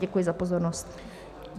Děkuji za pozornost.